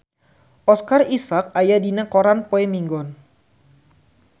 Oscar Isaac aya dina koran poe Minggon